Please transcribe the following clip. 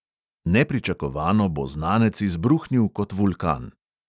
Nepričakovano bo znanec izbruhnil kot vulkan.